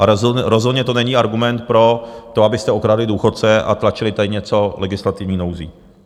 A rozhodně to není argument pro to, abyste okradli důchodce a tlačili tady něco legislativní nouzí.